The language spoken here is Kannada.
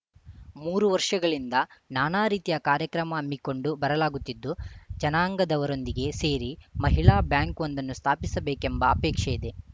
ಮೂರು ವರ್ಷಗಳಿಂದ ನಾನಾ ರೀತಿಯ ಕಾರ್ಯಕ್ರಮ ಹಮ್ಮಿಕೊಂಡು ಬರಲಾಗುತ್ತಿದ್ದು ಜನಾಂಗದವರೊಂದಿಗೆ ಸೇರಿ ಮಹಿಳಾ ಬ್ಯಾಂಕ್‌ವೊಂದನ್ನು ಸ್ಥಾಪಿಸಬೇಕೆಂಬ ಅಪೇಕ್ಷೆ ಇದೆ